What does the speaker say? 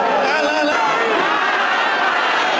Allahu Əkbər! Allahu Əkbər!